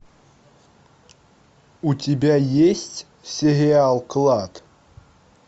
у тебя есть сериал клад